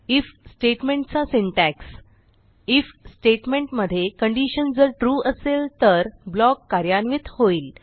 if statement160 चा syntax IF statement मध्ये condition जर ट्रू असेल तर ब्लॉक कार्यान्वित होईल